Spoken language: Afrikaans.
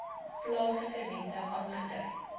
plaaslike rente aangedui